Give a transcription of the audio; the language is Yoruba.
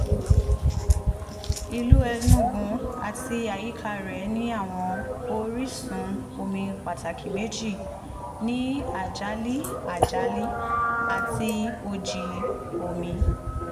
ìlú enugu àti àyíká rẹ̀ ní àwọn orísun omi pàtàkì méjì ní ajali ajali àti oji omi